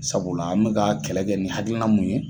Sabula an bika ka kɛlɛ kɛ ni hakilina mun ye